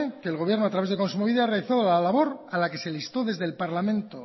que el gobierno a través de kontsumobide realizó la labor a la que se le instó desde el parlamento